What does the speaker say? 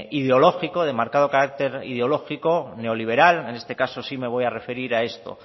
ideológico de marcado carácter ideológico neoliberal en este caso sí me voy a referir a esto